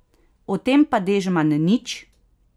O tem pa Dežman nič!